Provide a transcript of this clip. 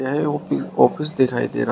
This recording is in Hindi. यह ऑफि ऑफिस दिखाई दे रहा है।